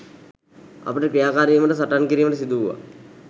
අපට ක්‍රියාකාරී වීමට සටන් කිරීමට සිදු වූවා.